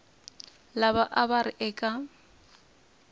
lava a va ri eka